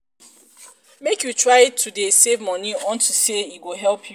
make you try to dey save money unto say e go help you